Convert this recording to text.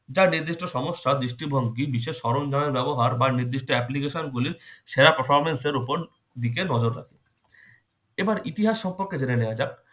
যা নির্দিষ্ট সমস্যা দৃষ্টিভঙ্গি বিশেষ সরঞ্জামের ব্যবহার বা নির্দিষ্ট application গুলির সেরা performance এর উপর দিকে নজর রাখে। এবার ইতিহাস সম্পর্কে জেনে নেওয়া যাক।